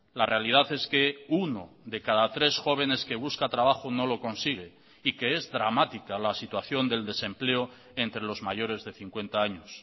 la realidad es que uno de cada tres jóvenes que busca trabajo no lo consigue y que es dramática la situación del desempleo entre los mayores de cincuenta años